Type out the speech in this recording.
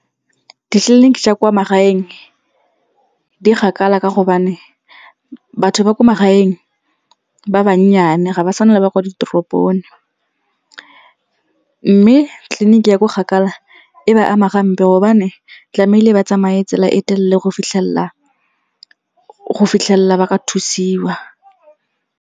Ditleliniki tsa kwa magaeng di kgakala ka gobane batho ba ko magaeng ba bannyane ga ba tshwane le ba kwa ditoropong. Mme tleliniki ya ko kgakala e ba ama gampe gobane tlamehile ba tsamaye tsela e telele go fitlhelela ba ka thusiwa.